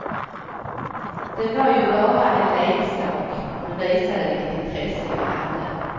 Det var ju bara en leksak, men visade vilket intresse jag hade.